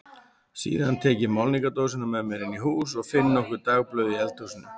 Síðan tek ég málningardósina með mér inn í hús og finn nokkur dagblöð í eldhúsinu.